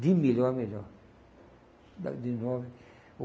De melhor a melhor.